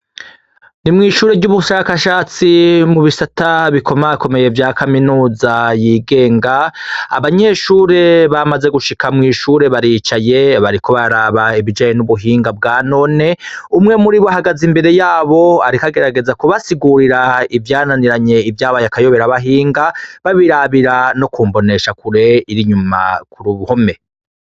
Ni mw'ishure ry'ubushakashatsi mu bisata biko makomeye vya kaminuza yigenga abanyeshure bamaze gushika mw'ishure baricaye bariko baraba ibijaye n'ubuhinga bwa none umwe muri bo hagaze imbere yabo arikagerageza kubasigurira ivyananiranye ivyabaye akayobera bahinga babirabira no kumbonesha kure iri nyuma kuri ubuhome.